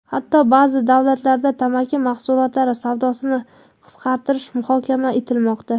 Hatto ba’zi davlatlarda tamaki mahsulotlari savdosini qisqartirish muhokama etilmoqda.